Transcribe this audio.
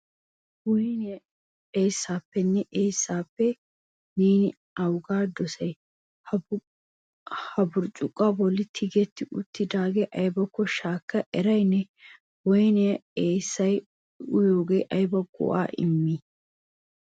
Woynniya eessappenne eessappe neeni awuga dossay? Ha burccukuwa bolla tigeti uttidaagee aybbakko shaakada eray ne? Woynne eessay uyyiyooge aybba go"a immii?